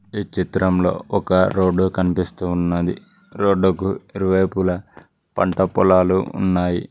ఈ చిత్రంలో ఒక రోడ్డు కనిపిస్తూ ఉన్నది రోడ్డుకు ఇరువైపులా పంట పొలాలు ఉన్నాయి.